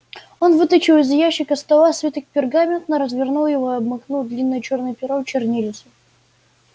он вытащил из ящика стола свиток пергамента развернул его и обмакнул длинное чёрное перо в чернильницу